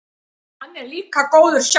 Hann er líka góður sjálfur.